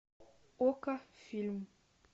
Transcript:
окко фильм